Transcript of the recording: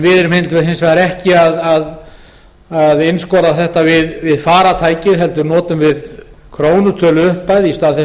við erum hins vegar ekki að einskorða þetta við farartæki heldur notum við krónutöluupphæð í stað þess